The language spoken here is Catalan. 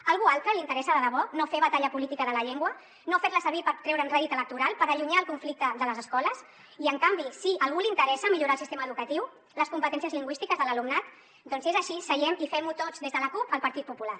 a algú altre li interessa de debò no fer batalla política de la llengua no fer la servir per treure’n rèdit electoral per allunyar el conflicte de les escoles i en canvi sí a algú li interessa millorar el sistema educatiu les competències lingüístiques de l’alumnat doncs si és així seguem i fem ho tots des de la cup al partit popular